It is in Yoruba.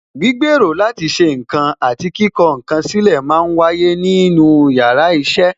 Gbígbèrò láti ṣe ǹkan àti kíkọ ǹ kan sílè máa ń wáyé nínú yàrá iṣẹ́